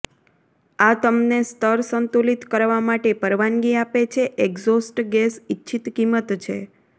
આ તમને સ્તર સંતુલિત કરવા માટે પરવાનગી આપે છે એક્ઝોસ્ટ ગેસ ઇચ્છિત કિંમત છે